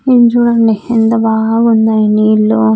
ఇటు చూడండి ఎంత బాగా ఉన్నాయి నీళ్లు.